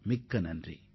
மிக்க நன்றி